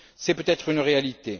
C'est peut être une réalité.